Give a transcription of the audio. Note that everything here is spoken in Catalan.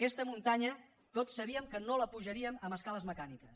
aquesta muntanya tots sabíem que no la pujaríem amb escales mecàniques